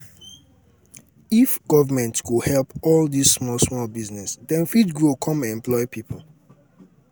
if um government go help all dis small small businesses dem go fit grow come employ um people.